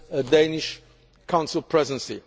between the Commission